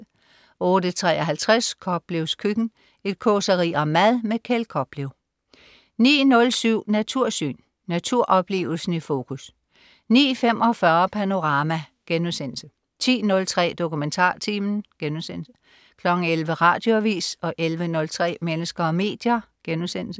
08.53 Koplevs køkken. Et causeri om mad. Kjeld Koplev 09.07 Natursyn. Naturoplevelsen i fokus 09.45 Panorama* 10.03 DokumentarTimen* 11.00 Radioavis 11.03 Mennesker og medier*